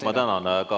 Ma tänan!